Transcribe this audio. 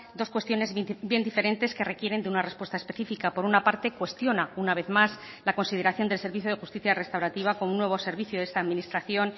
dos cuestiones bien diferentes que requieren de una respuesta específica por una parte cuestiona una vez más la consideración del servicio de justicia restaurativa con un nuevo servicio de esta administración